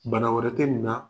Bana wɛrɛ tɛ nin na